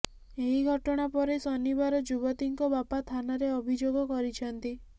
ଏହି ଘଟଣା ପରେ ଶନିବାର ଯୁବତୀଙ୍କ ବାପା ଥାନାରେ ଅଭିଯୋଗ କରିଛନ୍ତି